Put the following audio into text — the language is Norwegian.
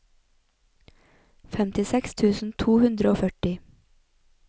femtiseks tusen to hundre og førti